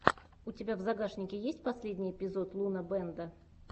у тебя в загашнике есть последний эпизод лунабэнда